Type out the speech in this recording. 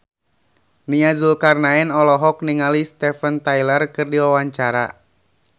Nia Zulkarnaen olohok ningali Steven Tyler keur diwawancara